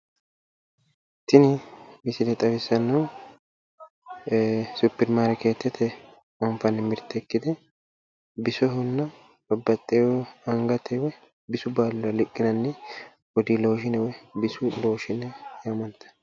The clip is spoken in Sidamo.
Tini misile xawissannohu suppermarkeetete anfanni mirte ikkite bisohonna babbaxxeyo angate woyi bisu baalira riqqinanni bodii looshiine bisu looshiine yaamantanno.